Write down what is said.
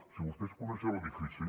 si vostès coneixen l’edifici